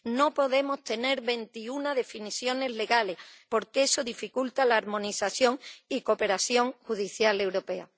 No podemos tener veintiuna definiciones legales, porque eso dificulta la armonización y la cooperación judicial europea.